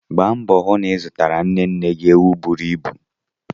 Gba mboo hụ na ị zụtara nne nne gị ewu buru ibu!